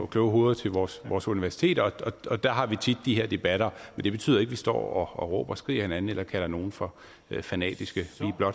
kloge hoveder til vores vores universiteter og der har vi tit de her debatter men det betyder ikke at vi står og råber og skriger af hinanden eller kalder nogen for fanatiske